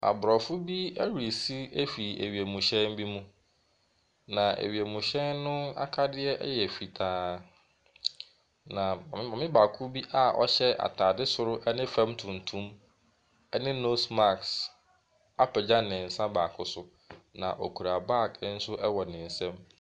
Abrɔfo bi resi afiri wiemhyɛn bi mu. Na wienhyɛn akadeɛ yɛ fitaa. Na maame baako bi a ɔhyɛ ataade soro ne fam tuntum ɛne nose marsk apegya ne nsa baako so. Na okura bag nso wɔ ne nsam.